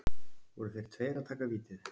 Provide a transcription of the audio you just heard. Voru þeir tveir að taka vítið?